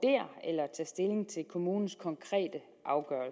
området og